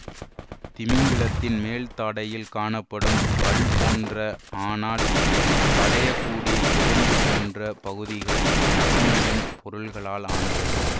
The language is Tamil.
திமிங்கிலத்தின் மேல்தாடையில் காணப்படும் பல் போன்ற ஆனால் வளையக்கூடிய எலும்பு போன்ற பகுதிகள் நகமியம் பொருள்களால் ஆனவை